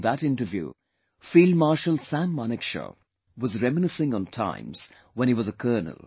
In that interview, field Marshal Sam Manekshaw was reminiscing on times when he was a Colonel